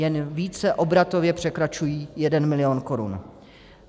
Jen více obratově překračují 1 milion korun.